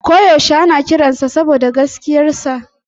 Ko yaushe ana kiransa saboda gaskiyarsa.